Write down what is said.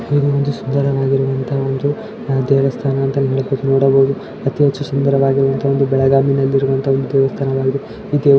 ಇಲ್ಲಿ ಒಂದು ಸುಂದರವಾಗಿದೆ ಒಂದು ದೇವಸ್ಥಾನ ಅಂತ ನೋಡಬಹುದು ಅತಿ ಹೆಚ್ಚು ಸುಂದರವಾಗಿರುವ ಬೆಳಗಾವಿ ಅಲ್ಲಿ ಇರುವಂತ ಒಂದು ದೇವಸ್ಥಾನವಾಗಿದೆ ಈ ದೇವ --